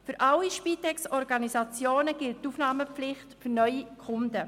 Für alle Spitex-Organisationen gilt die Aufnahmepflicht für neue Kunden.